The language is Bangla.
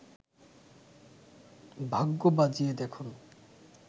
ভাগ্য বাজিয়ে দেখুন